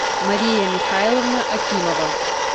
мария михайловна акимова